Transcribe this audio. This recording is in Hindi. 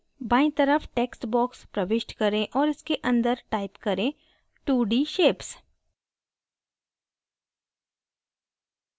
बायीं तरफ text box प्रविष्ट करें और इसके अंदर type करें 2d shapes